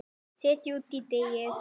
Setjið út í deigið.